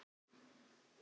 Þessi kona er svört.